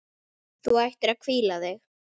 Þú ættir að hvíla þig.